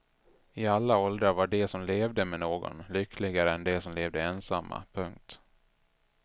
I alla åldrar var de som levde med någon lyckligare än de som levde ensamma. punkt